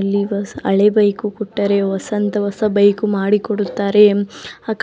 ಇಲ್ಲಿ ಹಳೆ ಬೈಕು ಕೊಟ್ಟರೆ ಹೊಸ ಬೈಕು ಮಾಡಿಕೊಡುತ್ತಾರೆ